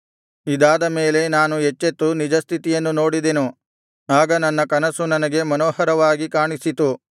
ಇದಾದ ಮೇಲೆ ನಾನು ಎಚ್ಚೆತ್ತು ನಿಜಸ್ಥಿತಿಯನ್ನು ನೋಡಿದೆನು ಆಗ ನನ್ನ ಕನಸು ನನಗೆ ಮನೋಹರವಾಗಿ ಕಾಣಿಸಿತು